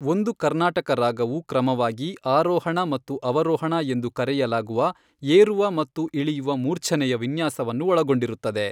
ಒಂದು ಕರ್ನಾಟಕ ರಾಗವು ಕ್ರಮವಾಗಿ ಆರೋಹಣ ಮತ್ತು ಅವರೋಹಣ ಎಂದು ಕರೆಯಲಾಗುವ ಏರುವ ಮತ್ತು ಇಳಿಯುವ ಮೂರ್ಛನೆಯ ವಿನ್ಯಾಸವನ್ನು ಒಳಗೊಂಡಿರುತ್ತದೆ.